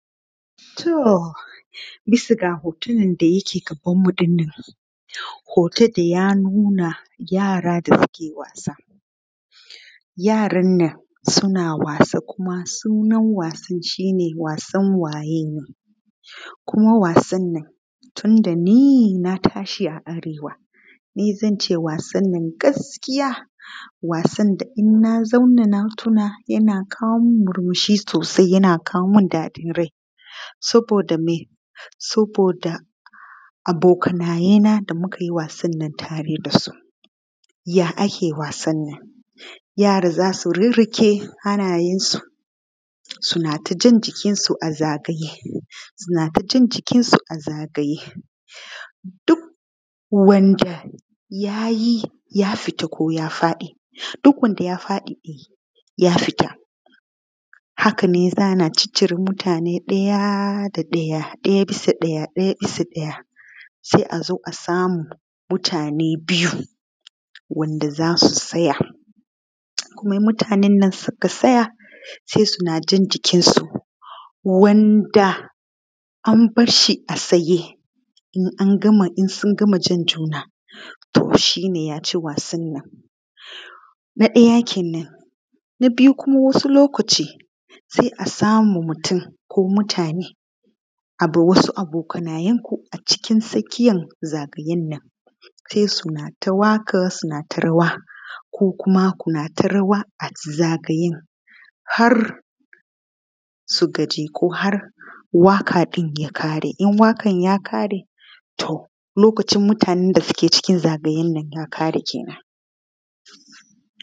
To bisa ga hoton da yake gabanmu ɗinnan, hoton da ya nuna yara da suke wasa. Yaran nan suna wasa, sunan wasan nan shi ne wasan waye ni. Kuma wasan nan tun da ni na tashi a Arewa, ni zance wasan nan gaskiya in na tuna yana kawo min murmushi sosai, yana kawo min daɗin rai. Saboda me? Saboda abokanayena mun yi wasan nan tare da su. Ya ake wasan nan? Yara za su riƙe hannayensu sannan su ja jikinsu a zagaye. Duk wanda ya fita ko ya faɗi, duk wanda ya faɗi ya fita. Hakanan ana cire mutane ɗaya bisa ɗaya sai a zo a samu mutane biyu waɗanda za su tsaya. Kuma mutanen nan da suka tsaya, sai su na ja’n jikinsu; wanda aka bar shi a tsaye, in sun gama jan juna to shi ne ya ci wasan nan na biyu. Wasu lokuta sai a samu mutum ko mutane wasu abokanayen ko cikin tsakiyan zagayen nan, sai su yi waƙa sannan su yi rawa, ko kuma su yi rawa a zagayen har su gaji ko har waƙar ta ƙare. In waƙar ta ƙare, to mutanen da ke cikin zagayen nan ya ƙare.